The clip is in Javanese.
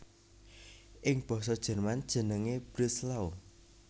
Ing basa Jerman jenengé Breslau